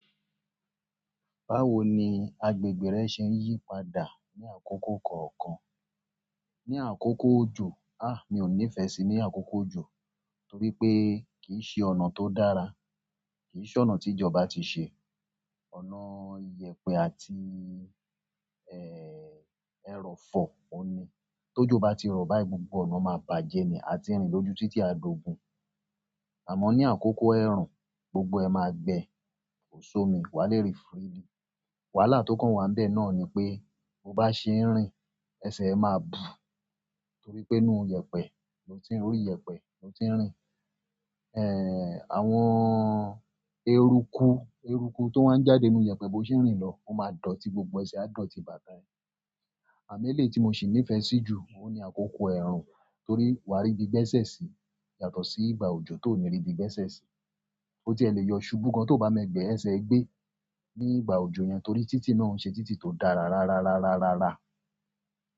Báwo ni agbègbè rẹ ṣe ń yípadà ní àkókò kọ̀ọ̀kan? Ní àkókò òjò, a! Mí ò nífẹ̀ẹ́ sí ní àkókò òjò torí pé kì í ṣe ọ̀nà tó dára, kì í ṣe ọ̀nà tí ìjọba ti ṣe. Ọ̀nà iyẹ̀pẹ̀ àti, ẹ́, ẹrọ̀fọ̀ ọni. Tójọ́ bá ti rọ̀ báyìí gbogbo ọ̀nà máa bàjẹ́ ni, a ti rìn lójú títí a d'ogun. Amo ni akoko erun gbogbo e maa gbe ko si omi wa le rin freely. Wàhálà tó kàn wá ń bẹ náà ni pé bó bá ṣe ń rìn, ẹsẹ̀ ẹ máa bù torí pé inú ìyẹ̀pẹ̀ ló ti ń rí, orí ìyẹ̀pẹ̀ ló ti ń rìn. Ẹ́, àwọn eruku, eruku tó wá ń jáde nínú ìyẹ̀pẹ̀ bó ṣe ń rìn lọ, ó máa dọ̀tí, gbogbo ẹsẹ̀ a dọ̀tí bà tá ẹ. Àmo ẹ́lẹ̀ tí mo sì nífẹ̀ẹ́ sí jù, òun ni àkókò ẹ̀rùn torí wà á rí ibi gbẹ́sẹ̀ sí yàtọ̀ sí ìgbà òjò tó ò ní rí ibi gbẹ́sẹ̀ sí. Ó ti ẹ lè yọ ṣubú gan tó bá mọ ẹgbẹ́ ẹsẹ̀ ẹ gbé ní ìgbà òjò yẹn torí títí náà o n ṣe títí tó dára rá rárá rárá rárá.